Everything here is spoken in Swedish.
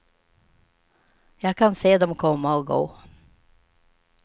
Jag kan se dom komma och gå.